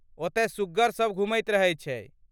ओतय सुग्गर सभ घुमैत रहैत छै।